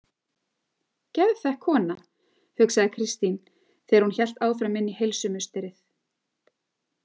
Geðþekk kona, hugsaði Kristín þegar hún hélt áfram inn í heilsumusterið.